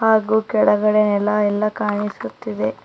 ಹಾಗು ಕೆಳಗಡೆ ನೆಲ ಎಲ್ಲ ಕಾಣಿಸುತ್ತಿದೆ.